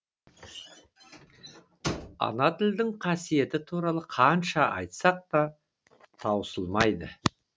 ана тілдің қасиеті туралы қанша айтсақ та таусылмайды